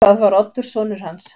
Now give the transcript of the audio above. Það var Oddur sonur hans.